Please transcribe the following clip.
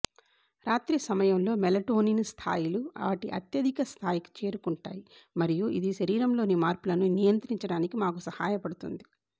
రాత్రి సమయంలో మెలటోనిన్ స్థాయిలు వాటి అత్యధిక స్థాయికి చేరుకుంటాయి మరియు ఇది శరీరంలోని మార్పులను నిద్రించడానికి మాకు సహాయపడుతుంది